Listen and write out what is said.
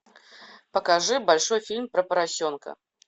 покажи большой фильм про поросенка